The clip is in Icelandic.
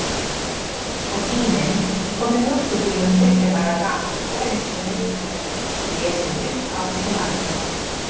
Og Tíminn kom með mjólkurbílnum þriggja daga gamall og reynslunni ríkari, lesinn upphátt til agna.